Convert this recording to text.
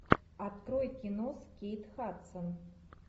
открой кино с кейт хадсон